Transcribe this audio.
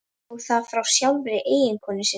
Og það frá sjálfri eiginkonu sinni.